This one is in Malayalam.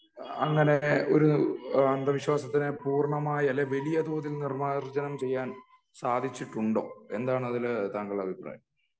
അങ്ങനെ ഒരു അന്ധവിശ്വാസത്തിനെ പൂർണമായി അല്ലെങ്കിൽ വലിയ തോതിൽ നിർമാർജനം ചെയ്യാൻ സാധിച്ചിട്ടുണ്ടോ എന്താണ് അതിൽ താങ്കളുടെ അഭിപ്രായം